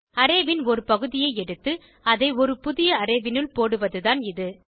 array ன் ஒரு பகுதியை எடுத்து அதை ஒரு புதிய அரே னுள் போடுவதுதான் இது